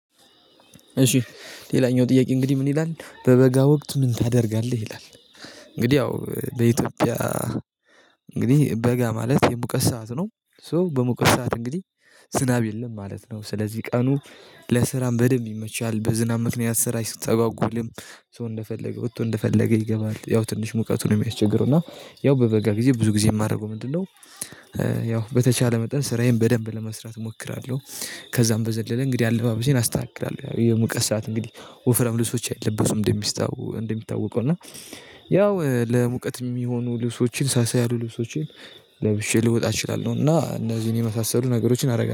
እሺ ሌላኛው ጥያቄ እንግዲህ ምን ይላል በበጋ ወቅት ምን ታደርጋለህ ይላል? እንግዲህ ያው በኢትዮጵያ እንግዲህ በጋ ማለት የሙቀት ሰዓት ነው። ሶ በሙቀት ሰዓት እንግዲህ ዝናብ የለም ማለት ነው። ስለዚህ ቀኑ ለስራም በደንብ ይመቻል በዝናብ መክንያ ስራ አይስተጠጓጉልም። ሰው እንደፈለገ ወጥቶ እንደፈለገ ይገባል። ያው ትንሽ ሙቀቱ ነው የሚያስቸግረው እና ያው በበጋ ጊዜ ብዙ ጊዜ የማደርገው ምንድነው? ያው በተቻለ መጠን ስራዬን በደንብ ለመስራት እሞክራለሁ። ከዛም በዘለለ እንግዲህ አልባበሴን አስተካክላለሁ የሙቀስ ስርዓት እንግዲህ ወፍራም ልብሶች አይለበሱም። እንደሚስታው እንደሚታወቀው እና ያው ለሙቀት የሚሆኑ ልብሶችን ሳሳ ያሉ ልብሶችን ለብሼ ልወጣ እችላለሁ። እና እነዚህን የመሳሰሉ ነገሮችን አደርጋለሁ